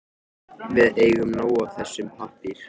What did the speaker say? Við eigum nóg af þessum pappír.